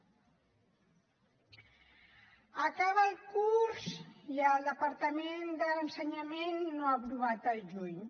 acaba el curs i el departament d’ensenyament no ha aprovat al juny